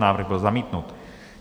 Návrh byl zamítnut.